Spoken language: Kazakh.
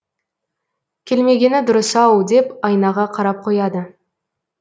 келмегені дұрыс ау деп айнаға қарап қояды